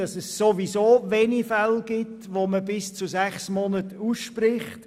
Es gibt ohnehin wenige Fälle, bei denen sechs Monate ausgesprochen werden.